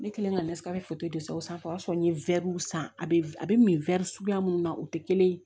Ne kɛlen ka foto de san o sanfɛ o y'a sɔrɔ n ye wɛriw san a bɛ a bɛ min suguya mun na o tɛ kelen ye